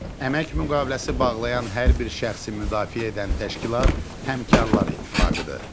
Əmək müqaviləsi bağlayan hər bir şəxsi müdafiə edən təşkilat həmkarlar ittifaqıdır.